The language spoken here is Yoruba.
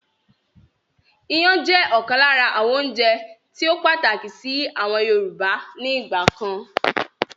Ìyàn jẹ́ ọ̀kan lára àwọn oúnjẹ tíì ó pàtàkì síí àwọn Yorùbá ni ìgbàkan